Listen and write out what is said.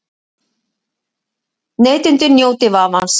Neytendur njóti vafans